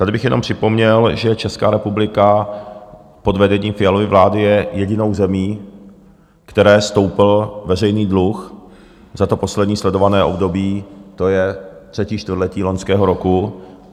Tady bych jenom připomněl, že Česká republika pod vedením Fialovy vlády je jedinou zemí, které stoupl veřejný dluh za to poslední sledované období, to je třetí čtvrtletí loňského roku.